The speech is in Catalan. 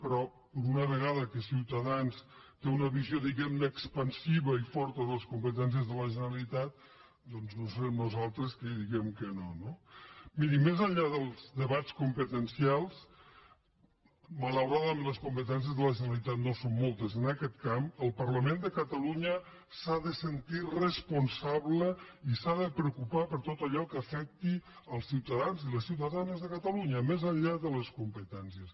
però per una vegada que ciutadans té una visió expansiva i forta de les competències de la generalitat no serem nosaltres qui diguem que no no mirin més enllà dels debats competencials malauradament les competències de la generalitat no són moltes en aquest camp el parlament de catalunya s’ha de sentir responsable i s’ha de preocupar per tot allò que afecti els ciutadans i les ciutadanes de catalunya més enllà de les competències